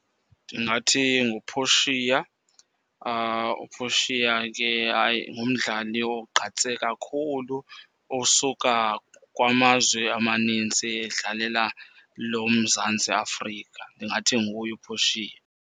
Ndingathi nguPortia. UPortia ke hayi ngumdlali ogqatse kakhulu osuka kwamazwe amanintsi edlalela lo Mzantsi Afrika. Ndingathi nguye uPortia.